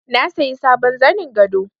Na sayi sabon zanin gado